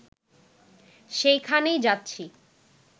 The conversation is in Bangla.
সেইখানেই যাচ্ছি